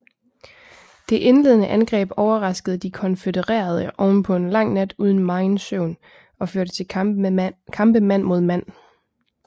Det indledende angreb overraskede de konfødererede ovenpå en lang nat uden megen søvn og førte til kampe mand mod mand